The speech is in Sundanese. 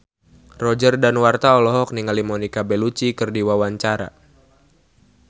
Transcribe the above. Roger Danuarta olohok ningali Monica Belluci keur diwawancara